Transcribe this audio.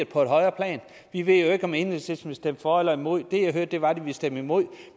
på et højere plan vi ved jo ikke om enhedslisten vil stemme for eller imod det jeg hørte var at de ville stemme imod